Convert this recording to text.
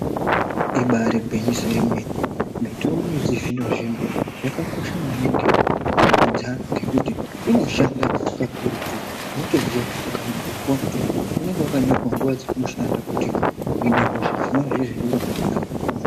Ibari gwinyiso remene mitombo yechizvino zvino yakakosha maningi mundaramo dzevantu ngekuti inoshanda kakurutu unotoziva ukaenda kopuwa mutombo unenge wakanyirwa nguwa dzaunoshanda uhune hosha dzinova izvizvi uno Kakara munhu.